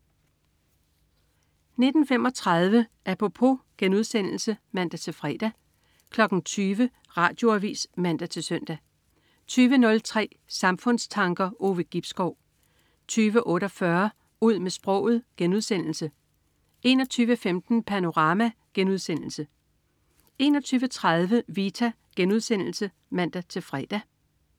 19.35 Apropos* (man-fre) 20.00 Radioavis (man-søn) 20.03 Samfundstanker. Ove Gibskov 20.48 Ud med sproget* 21.15 Panorama* 21.30 Vita* (man-fre)